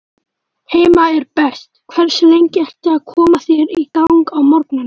Heima er best Hversu lengi ertu að koma þér í gang á morgnanna?